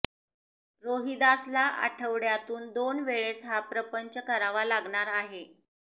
रोहिदासला आठवड्यातून दोन वेळेस हा प्रपंच करावा लागणार आहे